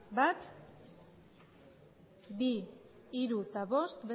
bat bi hiru eta bost